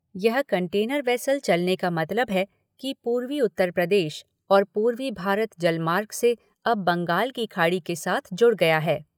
यह container vessel चलने का मतलब है कि पूर्वी उत्तर प्रदेश और पूर्वी भारत जलमार्ग से अब बंगाल की खाड़ी के साथ जुड़ गया है।